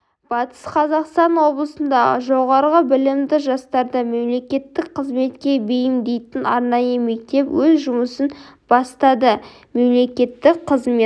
батыс қазақстан облысында жоғары білімді жастарды мемлекеттік қызметке бейімдейтін арнайы мектеп өз жұмысын бастады мемлекеттік қызмет